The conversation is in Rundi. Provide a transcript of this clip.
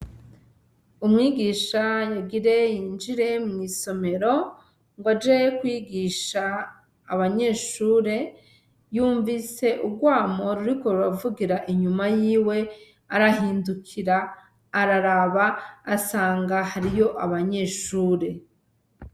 Umwigisha agire yinjire mw'isomero gwaje kwigisha abanyeshure, yumvise urwamo ruriko ruravugira inyuma yiwe ,arahindukira araraba asanga hariyo abanyeshure.